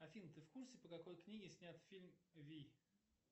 афина ты в курсе по какой книге снят фильм вий